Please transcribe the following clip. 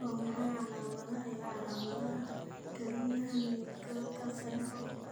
Waa maxay calaamadaha iyo calaamadaha kelyaha nutcracker syndrome?